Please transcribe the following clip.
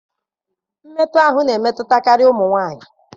Mmekọahụ na-emetụtakarị ụmụ nwanyị.